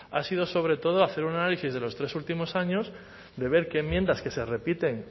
ha sido sobre todo hacer un análisis de los tres últimos años de ver qué enmiendas que se repiten